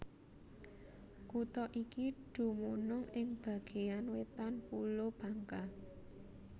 Kutha iki dumunung ing bagéan wétan Pulo Bangka